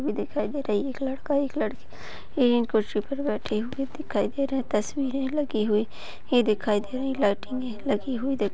रखी हुई दिखाई दे रही है एक लड़का एक लड़की है एक कुर्सी पर बैठी हुई दिखाई दे रही है तस्वीरे है लगी हुई दिखाई दे रही लाइटिंगे लगी हुई दिखा--